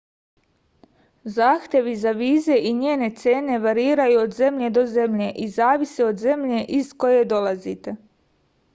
zahtevi za vize i njene cene variraju od zemlje do zemlje i zavise od zemlje iz koje dolazite